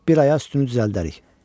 Bir aya özümüzü düzəldərik.